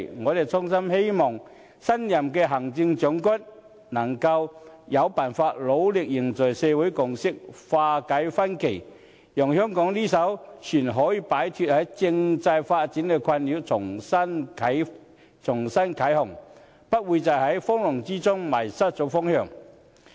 我衷心希望新任的行政長官，能夠有辦法努力凝聚社會共識、化解分歧，讓香港這艘船可以擺脫政制發展的困擾，重新啟航，不會在風浪中迷失方向。